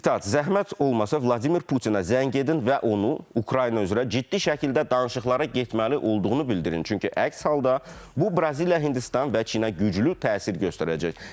Sitat: Zəhmət olmasa Vladimir Putinə zəng edin və onu Ukrayna üzrə ciddi şəkildə danışıqlara getməli olduğunu bildirin, çünki əks halda bu Braziliya, Hindistan və Çinə güclü təsir göstərəcək.